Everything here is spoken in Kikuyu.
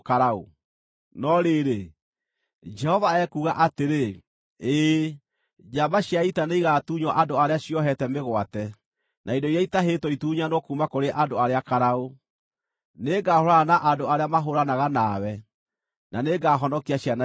No rĩrĩ, Jehova ekuuga atĩrĩ: “Ĩĩ, njamba cia ita nĩigatunywo andũ arĩa ciohete mĩgwate, na indo iria itahĩtwo itunyanwo kuuma kũrĩ andũ arĩa karaũ; nĩngahũũrana na andũ arĩa mahũũranaga nawe, na nĩngahonokia ciana cianyu.